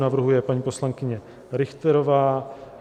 Navrhuje paní poslankyně Richterová.